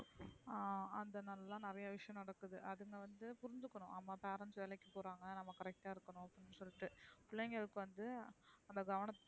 அ அந்த நாளா தான் நிறைய விஷயம் நடக்குது. அதுங்க வந்து புரிஞ்சுக்கணும் நம்ம parents வேலைக்கு போறாங்க நம்ம correct அ இருகனுன்னு அப்டின்னு சொலிட்டு. பிள்ளைங்களுக்கு வந்து அந்த கவனத்த.